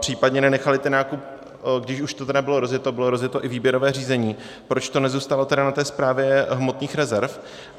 případně nenechali ten nákup, když už to tedy bylo rozjeto, bylo rozjeto i výběrové řízení, proč to nezůstalo tedy na té Správě hmotných rezerv?